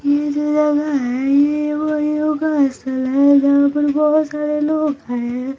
ये जो जगा है ये तो योगा क्लास है जहा पर बहुत सारे लोग है।